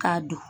K'a dun